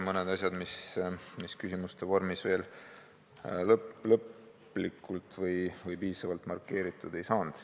Mõned asjad, mis küsimuste vormis lõplikult või piisavalt markeeritud ei saanud.